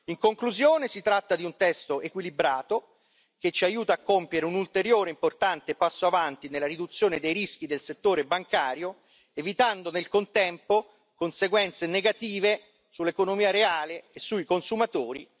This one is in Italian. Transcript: In conclusione, si tratta di un testo equilibrato che ci aiuta a compiere un ulteriore importante passo avanti nella riduzione dei rischi del settore bancario, evitando nel contempo conseguenze negative sull'economia reale e sui consumatori.